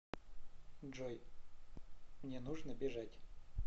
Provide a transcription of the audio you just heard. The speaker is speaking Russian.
джой мне нужно бежать